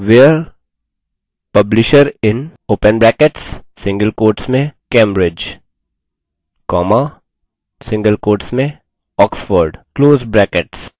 where publisher in cambridge oxford